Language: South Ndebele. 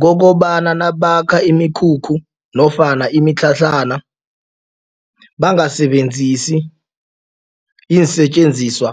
Kokobana nabakha imikhukhu nofana imitlhatlhana bangasebenzisi iinsetjenziswa